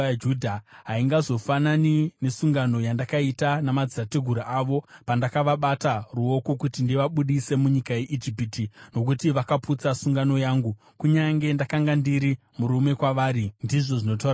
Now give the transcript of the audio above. Haingazofanani nesungano yandakaita namadzitateguru avo, pandakavabata ruoko kuti ndivabudise munyika yeIjipiti, nokuti vakaputsa sungano yangu, kunyange ndakanga ndiri murume kwavari,” ndizvo zvinotaura Jehovha.